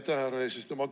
Aitäh, härra eesistuja!